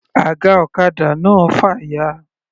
Aga ọ̀kadà náà fàya.